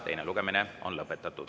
Teine lugemine on lõpetatud.